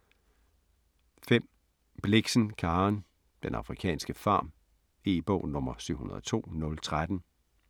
5. Blixen, Karen: Den afrikanske farm E-bog 702013